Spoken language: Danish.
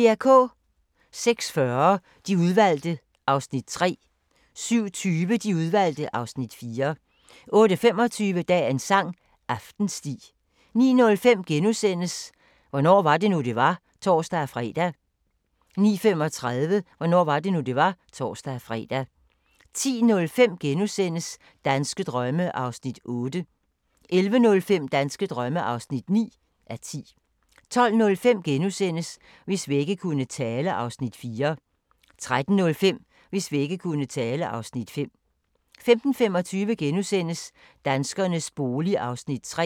06:40: De Udvalgte (Afs. 3) 07:20: De Udvalgte (Afs. 4) 08:25: Dagens sang: Aftensti 09:05: Hvornår var det nu det var *(tor-fre) 09:35: Hvornår var det nu det var (tor-fre) 10:05: Danske drømme (8:10)* 11:05: Danske drømme (9:10) 12:05: Hvis vægge kunne tale (Afs. 4)* 13:05: Hvis vægge kunne tale (Afs. 5) 15:25: Danskernes bolig (Afs. 3)*